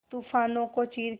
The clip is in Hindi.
तूफानों को चीर के